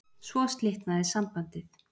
Svo slitnaði sambandið